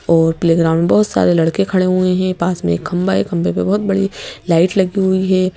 और playground में बहुत सारे लड़के खड़े हुए हैं पास में एक खंभा है खंभे पे बहुत बड़ी लाइट लगी हुई है।